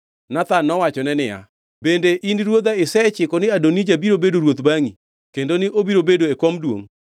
Nathan nowachone niya, “Bende in ruodha isechiko ni Adonija biro bedo ruoth bangʼi kendo ni obiro bedo e kom duongʼ?